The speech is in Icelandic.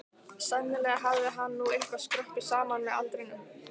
Sennilega hafði hann nú eitthvað skroppið saman með aldrinum.